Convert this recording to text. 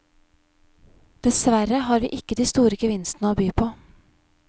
Desverre har vi ikke de store gevinstene å by på.